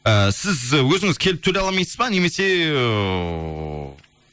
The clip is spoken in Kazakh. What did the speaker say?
ііі сіз өзіңіз келіп төлей алмасыз ба немесе ыыы